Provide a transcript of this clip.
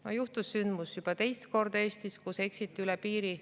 No juhtus juba teist korda Eestis sündmus, kus eksiti üle piiri.